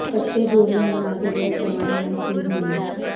ਤਖ਼ਤੇ ਜੋੜੀਆਂ ਬਣਾ ਕੇ ਬਹੁਤੀ ਕਮਾਈ ਨਹੀਂ ਸੀ ਹੋਣੀ